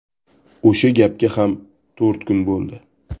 O‘sha gapga ham to‘rt kun bo‘ldi.